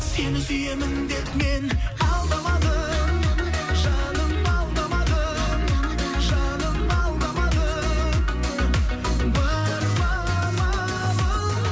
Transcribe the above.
сені сүйемін деп мен алдамадым жаным алдамадым жаным алдамадым бар ма амалым